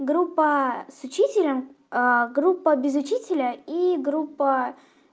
группа с учителем группа без учителя и группа